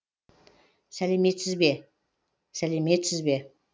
сәлеметсіз бе сәлеметсіз бе